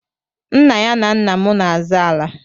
Nna ya na nna m n'azọ ala.